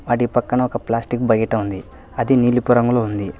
వాటిపక్కన ఒక plastic bucket ఉంది అది నిలపు రంగులో ఉంది.